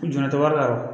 Jɔn tɛ wari la